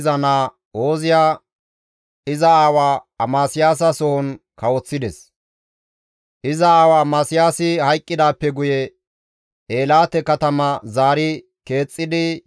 Iza aawa Amasiyaasi hayqqidaappe guye Eelaate katama zaari keexxidi Yuhudara gaththi gimbides.